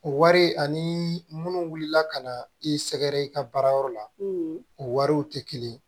O wari ani munnu wulila ka na i sɛgɛrɛ i ka baara yɔrɔ la o wariw tɛ kelen ye